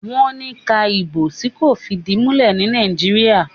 wón ni ká Ìbò tí kò fìdìmulẹ́ ní Nàìjíríà.